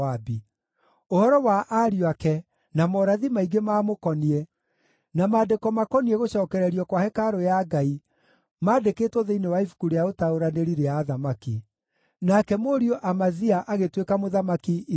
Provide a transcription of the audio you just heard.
Ũhoro wa ariũ ake na morathi maingĩ maamũkoniĩ, na maandĩko makoniĩ gũcookererio kwa hekarũ ya Ngai maandĩkĩtwo thĩinĩ wa ibuku rĩa ũtaũranĩri rĩa athamaki. Nake mũriũ Amazia agĩtuĩka mũthamaki ithenya rĩake.